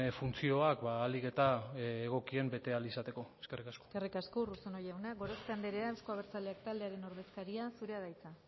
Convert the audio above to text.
funtzioak ahalik eta egokien bete ahal izateko eskerrik asko eskerrik asko urruzuno jauna gorospe anderea euzko abertzaleak taldearen ordezkaria zurea da hitza